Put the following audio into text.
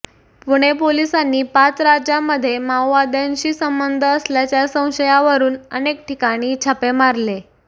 पुणे पोलिसांनी पाच राज्यांमध्ये माओवाद्यांशी संबंध असल्याच्या संशयावरून अनेक ठिकाणी छापे मारले